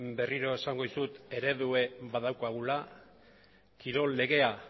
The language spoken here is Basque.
berriro esango dizut eredua badaukagula kirol legea